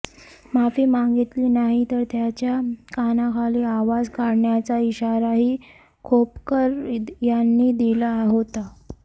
माफी मागितली नाही तर त्याच्या कानाखाली आवाज काढण्याचा इशारा ही खोपकर यांनी दिला होता